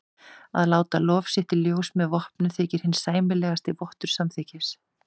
Að láta lof sitt í ljós með vopnum þykir hinn sæmilegasti vottur samþykkis.